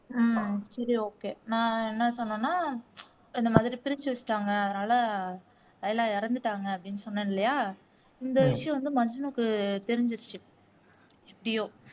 ஹம் சரி ஓகே நான் என்ன சொன்னேன்னா இந்த மாதிரி பிரிச்சு வச்சுட்டாங்க அதனால எல்லாம் இறந்துட்டாங்க அப்படின்னு சொன்னேன் இல்லையா? இந்த விஷயம் வந்து மஜ்னுக்கு தெரிஞ்சுடுச்சு எப்படியோ